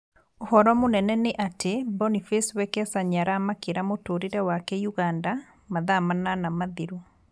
ũhoro mũnene nĩ atĩ Boniface Wekesa nĩaramakĩra mũtũrĩre wake Uganda mathaa manana mathiru